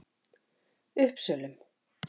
Uppsölum